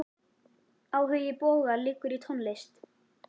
Áhugi Boga liggur í tónlist.